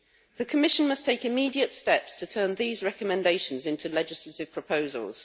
The Commission must take immediate steps to turn these recommendations into legislative proposals.